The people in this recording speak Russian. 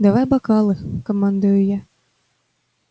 давай бокалы командую я